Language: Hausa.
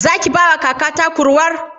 Zaki bawa kakata kurwar?